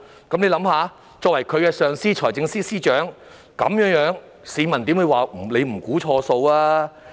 大家試想一想，財政司司長是發展局的上司，市民怎會不指責他"估錯數"？